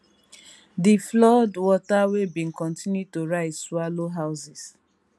di flood water wey bin kontinu to rise swallow houses